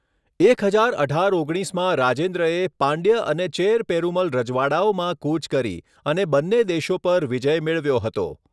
એક હજાર અઢાર ઓગણીસમાં રાજેન્દ્રએે પાંડ્ય અને ચેર પેરુમલ રજવાડાઓમાં કૂચ કરી અને બન્ને દેશો પર વિજય મેળવ્યો હતો.